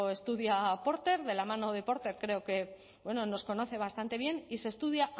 estudia porter de la mano de porter creo que bueno nos conoce bastante bien y se estudia